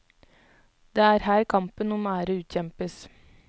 Det er her kampen om ære utkjempes.